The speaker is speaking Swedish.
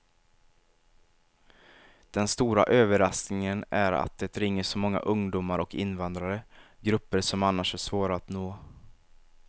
Den stora överraskningen är att det ringer så många ungdomar och invandrare, grupper som annars är svåra att nå.